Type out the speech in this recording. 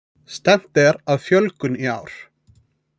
Stefnt er að fjölgun í ár